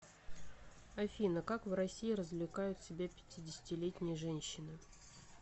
афина как в россии развлекают себя пятидесятилетние женщины